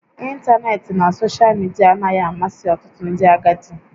Ịntanetị na soshal midia anaghị amasị ọtụtụ ndị agadi